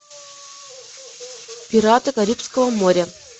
пираты карибского моря